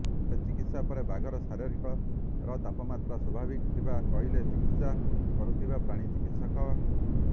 ତେବେ ଚିକିତ୍ସା ପରେ ବାଘର ଶରୀରର ତାପମାତ୍ରା ସ୍ୱାଭାବିକ ଥିବା କହିଥିଲେ ଚିକିତ୍ସା କରୁଥିବା ପ୍ରାଣୀ ଚିକିତ୍ସକ